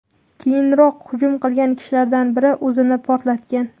Keyinroq hujum qilgan kishilardan biri o‘zini portlatgan.